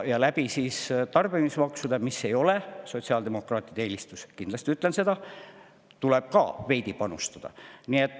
Ja tarbimismaksude näol – mis ei ole sotsiaaldemokraatide eelistus, kindlasti ütlen seda – tuleb ka veidi panustada.